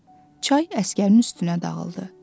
Çay əsgərin üstünə dağıldı.